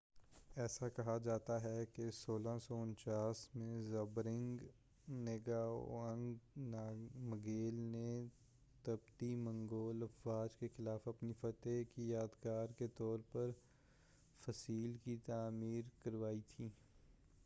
ایسا کہا جاتا ہے کہ 1649 میں زبدرنگ نگاوانگ نامگیل نے تبتی منگول افواج کے خلاف اپنی فتح کی یادگار کے طور پر فَصِیل کی تعمیر کروائی تھی